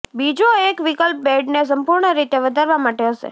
બીજો એક વિકલ્પ બેડને સંપૂર્ણ રીતે વધારવા માટે હશે